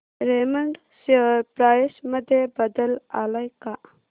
Raymond share price मध्ये बदल आलाय का